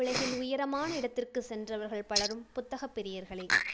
உலகில் உயரமான இடத்திற்கு சென்றவர்கள் பலரும் புத்தகப்பிரியர்களே.